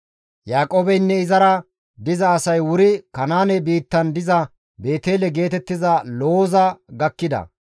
Yaaqoobeynne izara diza asay wuri Kanaane biittan diza Beetele geetettiza Looza gakkida.